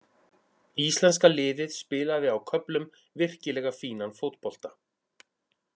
Íslenska liðið spilaði á köflum virkilega fínan fótbolta.